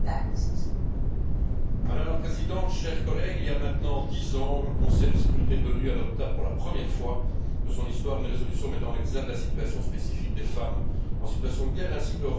Madame la Présidente, chers collègues, il y a maintenant dix ans que le Conseil de sécurité des Nations unies a adopté, pour la première fois de son histoire, une résolution mettant en exergue la situation spécifique des femmes en situation de guerre ainsi que leur rôle dans la résolution des conflits.